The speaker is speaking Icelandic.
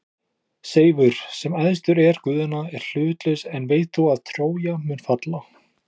Seifur, sem æðstur er guðanna, er hlutlaus en veit þó að Trója mun falla.